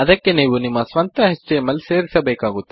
ಅದಕ್ಕೆ ನೀವು ನಿಮ್ಮ ಸ್ವಂತ ಎಚ್ಟಿಎಂಎಲ್ ಸೇರಿಸಬೇಕಾಗುತ್ತದೆ